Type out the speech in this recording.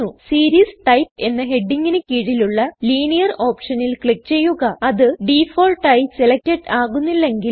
series type എന്ന ഹെഡിഗിന് കീഴിലുള്ള ലിനിയർ ഓപ്ഷനിൽ ക്ലിക് ചെയ്യുക അത് ഡിഫാൾട്ട് ആയി സെലക്ടഡ് ആകുന്നില്ലങ്കിൽ